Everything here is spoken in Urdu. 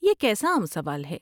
یہ کیسا عام سوال ہے۔